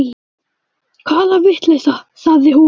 Hvaða vitleysa, sagði hún.